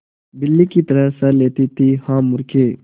बिल्ली की तरह सह लेती थीहा मूर्खे